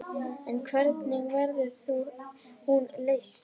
En hvernig verður hún leyst?